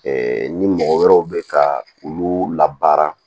ni mɔgɔ wɛrɛw bɛ ka olu labaara